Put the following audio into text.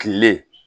Kile